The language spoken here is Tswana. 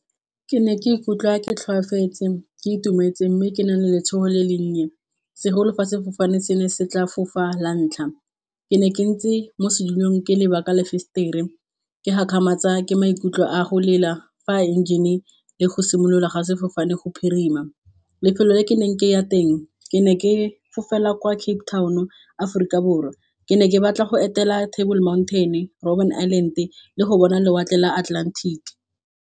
Ke ne ke ikutlwa ke tlhoafetse, ke itumetse mme ke nang le letshogo le le nnye segolo fa sefofane se ne se tla fofa la ntlha. Ke ne ke ntse mo setilong ke leba ka lefesetere ke gakgamatswa ke maikutlo a go lela fa a engine le go simolola ga sefofane go phirima. Lefelo le ke neng ke ya teng ke ne ke fofela kwa Cape Town o Aforika Borwa ke ne ke batla go etela Table mountain, Robben Island le go bona lewatle la Atlantic.